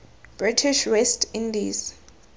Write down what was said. british west indies